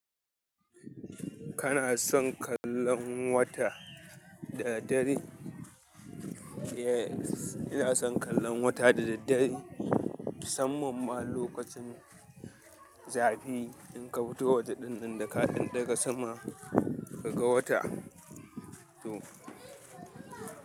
Kana son kallon wata da daddare? Inason kallon wata da daddare musamman ma lokacin zafi idan ka fito waje ɗinnan da ka ɗaga kanka sama kaga wata.